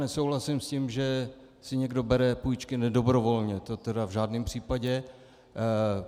Nesouhlasím s tím, že si někdo bere půjčky nedobrovolně, to tedy v žádném případě.